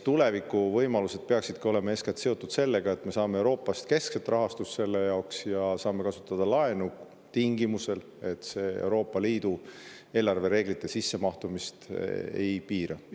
Tuleviku võimalused peaksid olema eeskätt seotud sellega, et me saame Euroopast keskset rahastust selle jaoks ja saame kasutada laenu tingimusel, et see Euroopa Liidu eelarvereegleid.